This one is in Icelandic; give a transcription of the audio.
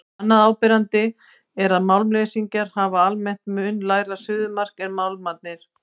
Annað áberandi er að málmleysingjarnir hafa almennt mun lægra suðumark en málmarnir.